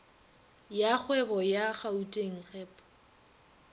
ya kgwebo ya gauteng gep